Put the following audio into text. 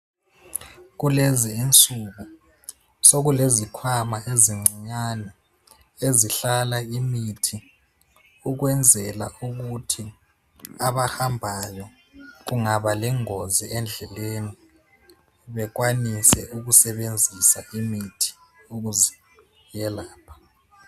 Kulezinsuku sekulezikhwama ezincinyane ezihlala imithi ukwenzela ukuthi abahambayo kungaba lengozi endleleni bekwanise ukusebenzisa imithi ukuziyelapha.